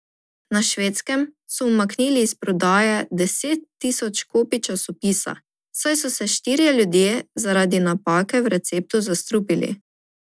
Na Švedskem so umaknili iz prodaje deset tisoč kopij časopisa, saj so se štirje ljudje zaradi napake v receptu zastrupili.